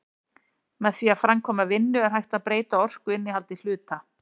Með því að framkvæma vinnu er hægt að breyta orkuinnihaldi hluta.